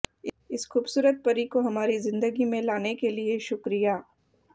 इस खूबसूरत परी को हमारी जिंदगी में लाने के लिए शुक्रिया